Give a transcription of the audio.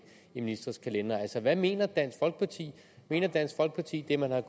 i ministres kalendere hvad mener dansk folkeparti mener dansk folkeparti det man har